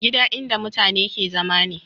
Gida in da matane ke zama ne